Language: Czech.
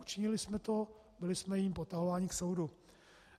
Učinili jsme to, byli jsme jím potahováni k soudu.